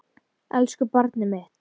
Elsku barnið mitt.